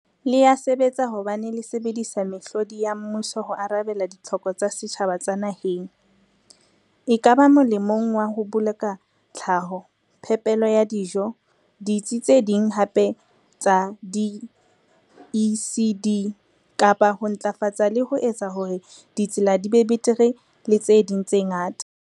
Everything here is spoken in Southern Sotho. Le ya sebetsa hobane le sebedisa mehlodi ya mmuso ho arabela ditlhoko tsa setjhaba tsa naheng, ekaba molemong wa ho boloka tlhaho, phepelo ya dijo, ditsi tse ding hape tsa di-ECD, kapa ho ntlafatsa le ho etsa hore ditsela di be betere le tse ding tse ngata.